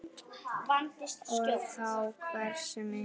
Og þá hversu mikið.